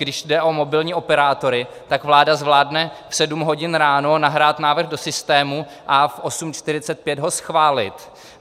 Když jde o mobilní operátory, tak vláda zvládne v 7 hodin ráno nahrát návrh do systému a v 8.45 ho schválit.